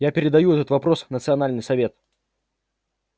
я передаю этот вопрос в национальный совет